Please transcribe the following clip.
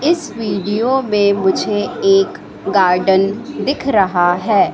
इस वीडियो में मुझे एक गार्डन दिख रहा है।